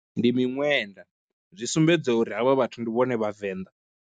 Ndi miṅwenda, zwi sumbedza uri havha vhathu ndi vhone vhavenḓa.